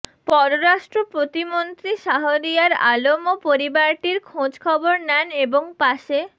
পররাষ্ট্র প্রতিমন্ত্রী শাহরিয়ার আলমও পরিবারটির খোঁজখবর নেন এবং পাশে